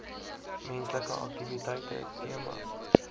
menslike aktiwiteite temas